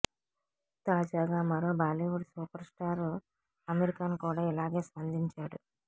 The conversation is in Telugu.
తాజాగా మరో Bollywood super star Aamir Khan కూడా ఇలాగే స్పందించాడు